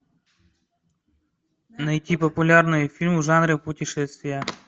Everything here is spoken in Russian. найти популярные фильмы в жанре путешествия